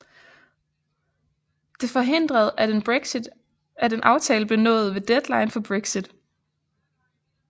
Dette forhindrede at en aftale blev nået ved deadline for Brexit